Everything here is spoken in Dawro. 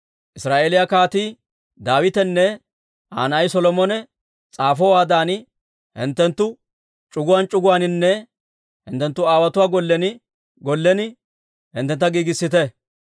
Israa'eeliyaa Kaatii Daawitenne Aa na'ay Solomone s'aafowaadan, hinttenttu c'uguwaan c'uguwaaninne hinttenttu aawotuwaa gollen gollen hinttentta giigissite.